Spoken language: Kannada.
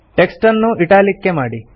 ಟೆಕ್ಸ್ಟ್ ಅನ್ನು ಇಟಾಲಿಕ್ಸ್ ಮಾಡಿ